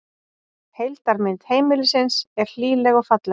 Heildarmynd heimilisins er hlýleg og falleg